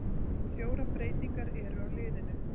Fjórar breytingar eru á liðinu.